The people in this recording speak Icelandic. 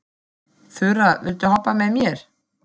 Þura, viltu hoppa með mér?